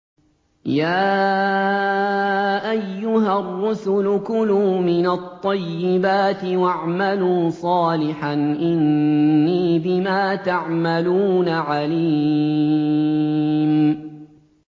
يَا أَيُّهَا الرُّسُلُ كُلُوا مِنَ الطَّيِّبَاتِ وَاعْمَلُوا صَالِحًا ۖ إِنِّي بِمَا تَعْمَلُونَ عَلِيمٌ